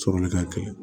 Sɔrɔli ka gɛlɛn